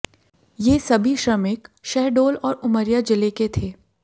ये सभी श्रमिक शहडोल और उमरिया जिले के थे